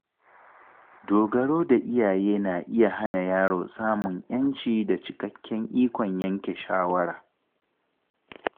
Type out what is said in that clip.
Dogaro da iyaye na iya hana yaro samun ‘yanci da cikakken ikon yanke shawara.